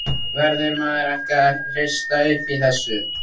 Verður maður ekki að hrista upp í þessu?